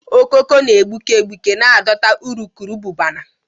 Okoko na egbuke egbuke na adọta urukurubụba na